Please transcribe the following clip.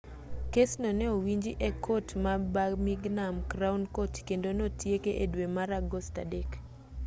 kesno ne owinji e kot ma birmingham crown court kendo notieke e dwe mar agost 3